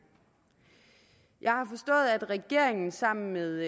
jeg har forstået at regeringen sammen med